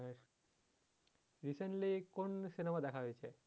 recently কোন cinema দেখা হয়েছে?